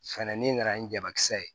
Fɛnɛ ni nana ni jabakisɛ ye